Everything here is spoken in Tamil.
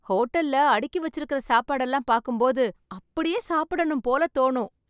ஹோட்டல்ல அடுக்கி வச்சிருக்குற சாப்பாடெல்லாம் பார்க்கும்போது அப்படியே சாப்பிடணும் போல தோணும்